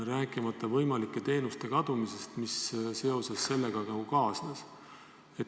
Rääkimata sellest, et kaduda võivad teenused, mis varasema puudeastmega kaasnesid.